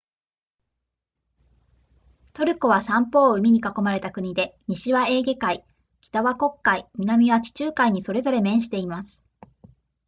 トルコは三方を海に囲まれた国で西はエーゲ海北は黒海南は地中海にそれぞれ面しています